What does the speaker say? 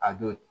A don